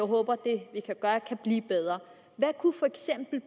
håber det kan blive bedre hvad kunne